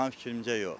Mənim fikrimcə yox.